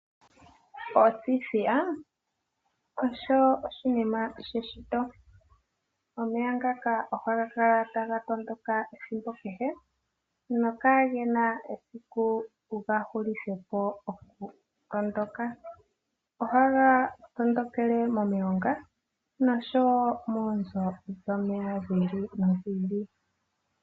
Othithiya osho oshinima sheshito. Omeya ngaka ohaga kala taga tondoka ethimbo kehe no kagena esiku tuga hulithepo okutondoka. Ohaga tondokele momilonga noshowo moonzo shomeya dhi ili nodhi ili.